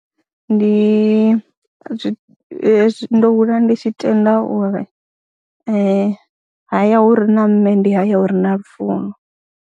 Ndi zwi hezwi ndo hula ndi tshi tenda uri haya hu re na mme ndi haya hu re na lufuno.